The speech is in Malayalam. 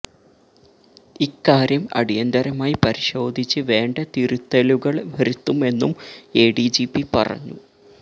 ഇക്കാര്യം അടിയന്തരമായി പരിശോധിച്ച് വേണ്ട തിരുത്തലുകള് വരുത്തുമെന്നും എ ഡി ജി പി പറഞ്ഞു